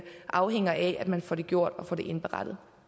afhænger af at man får det gjort og får det indberettet